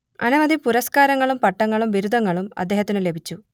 അനവധി പുരസ്കാരങ്ങളും പട്ടങ്ങളും ബിരുദങ്ങളും അദ്ദേഹത്തിനു ലഭിച്ചു